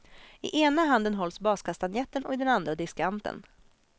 I ena handen hålls baskastanjetten och i den andra diskanten.